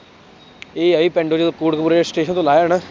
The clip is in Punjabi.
ਇਹ ਆ ਵੀ ਪਿੰਡ ਜਦੋਂ ਕੋਟਕਪੁਰੇ ਸਟੇਸ਼ਨ ਤੋਂ ਲਾਹਿਆ ਨਾ,